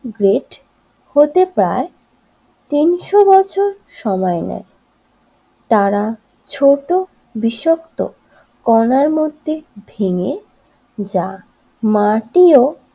great হতে পায় তিনশো বছর সময় নেয় তারা ছোট বিষাক্ত কনার মধ্যে ভেঙে যা মাটিও